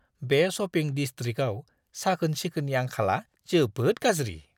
बे शपिं डिसट्रिकआव साखोन-सिखोननि आंखालआ जोबोद गाज्रि।